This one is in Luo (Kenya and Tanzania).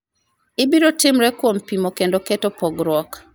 ibiro timre kuom pimo kendo keto pogruok